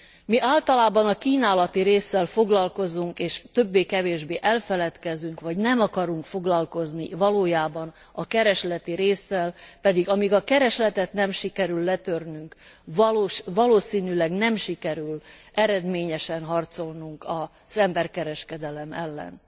Mi általában a kínálati résszel foglalkozunk, és többé kevésbé elfeledkezünk, vagy nem akarunk foglalkozni a keresleti résszel, pedig amíg a keresletet nem sikerül letörnünk, valószínűleg nem sikerül eredményesen harcolnunk az emberkereskedelem ellen.